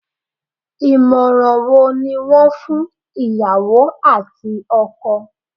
Ìmọ̀ràn wo ni wọ́n fún ìyàwó àti ọkọ?